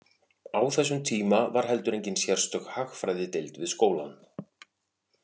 Á þessum tíma var heldur engin sérstök hagfræðideild við skólann.